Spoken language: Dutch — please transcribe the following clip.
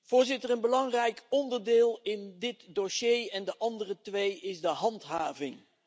Voorzitter, een belangrijk onderdeel in dit dossier en de andere twee is de handhaving.